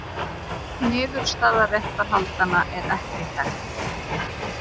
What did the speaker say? Niðurstaða réttarhaldanna er ekki þekkt.